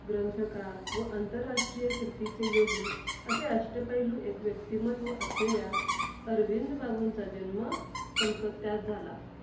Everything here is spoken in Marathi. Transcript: ग्रंथकार व अंतरराष्ट्रीय कीर्तीचे योगी असे अष्टपैलू एक व्यक्तिमत्व असलेल्या अरविंद बाबुंचा जन्म कलकत्त्यात झाला.